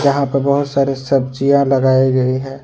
यहां पर बहुत सारे सब्जियां लगाई गई है।